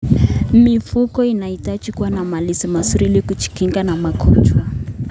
Mifugo inahitaji kuwa na malazi mazuri ili kujikinga na magonjwa.